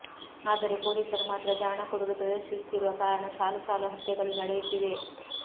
ಆದರೆ ಪೊಲೀ ಸರು ಮಾತ್ರ ಜಾಣ ಕುರುಡು ಪ್ರದರ್ಶಿ ಸುತ್ತಿರುವ ಕಾರಣ ಸಾಲು ಸಾಲು ಹತ್ಯೆಗಳು ನಡೆಯುತ್ತಿವೆ